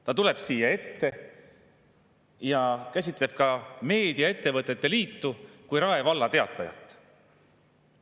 Ta tuleb siia ette ja käsitleb ka Meediaettevõtete Liitu kui Rae Valla Teatajat.